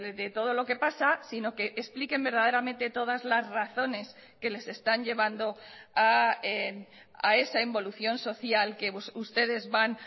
de todo lo que pasa sino que expliquen verdaderamente todas las razones que les están llevando a esa involución social que ustedes van